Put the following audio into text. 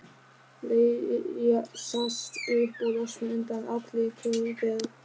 Leysast upp og losna undan allri kröfugerð.